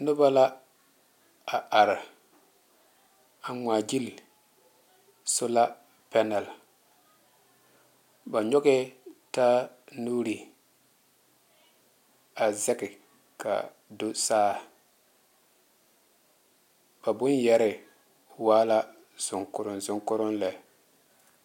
Noba la a re. a ŋmaa gyili sola panɛle. Ba nyɔgɛɛ ta nuuri a zɛge ka do saa. Ba boŋyɛre waa la zoŋkoroŋ zoŋkoroŋ lɛ.